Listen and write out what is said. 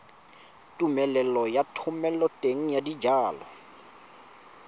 tumelelo ya thomeloteng ya dijalo